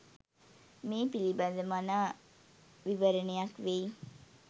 මේ පිළිබඳ මනා විවරණයක් වෙයි.